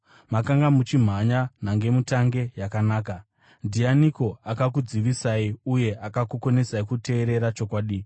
Makanga muchimhanya nhangemutange yakanaka. Ndianiko akakudzivisai uye akakukonesai kuteerera chokwadi?